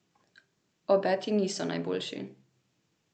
Obeti niso najboljši.